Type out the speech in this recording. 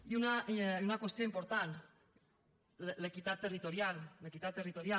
i una qüestió important l’equitat territorial l’equitat territorial